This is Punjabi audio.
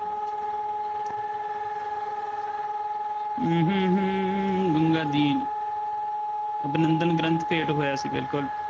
ਗੰਗਾਦੀਨ ਅਭਿਨੰਦਨ ਗ੍ਰੰਥ ਭੇਟ ਹੋਇਆ ਸੀ ਬਿਲਕੁਲ।